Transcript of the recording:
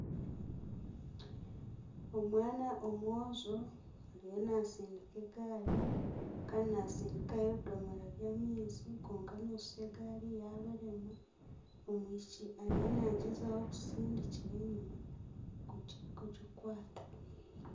Omwana omwojo ariyo naatsindika egaari. Kandi naatsindikayo ebidomoora by'amaizi kwonka nooshusha egaari yaabarema. Omwishiki ariyo naagyezaho kutsindira enyima kugikwata.